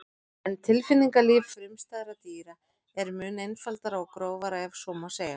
En tilfinningalíf frumstæðra dýra er mun einfaldara og grófara ef svo má segja.